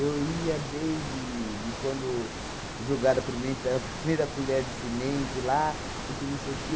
ia desde de quando jogaram a primenta a primeira colher de cimento lá e que não sei o quê.